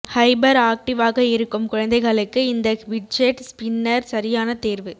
hyper ஆக்டிவ்வாக இருக்கும் குழந்தைகளுக்கு இந்த ஃபிட்ஜெட் ஸ்பின்னர் சரியான தேர்வு